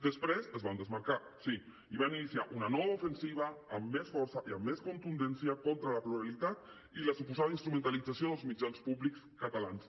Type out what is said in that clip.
després se’n van desmarcar sí i van iniciar una nova ofensiva amb més força i amb més contundència contra la pluralitat i la suposada instrumentalització dels mitjans públics catalans